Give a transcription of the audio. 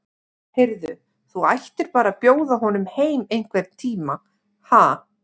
Heyrðu. þú ættir bara að bjóða honum heim einhvern tíma, ha.